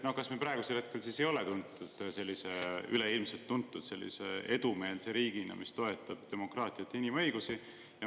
No kas me praegu siis ei ole üleilmselt tuntud sellise edumeelse riigina, kes toetab demokraatiat ja inimõigusi?